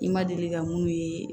I ma deli ka mun ye